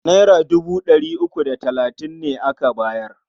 Naira dubu ɗari uku da talatin ne aka bayar.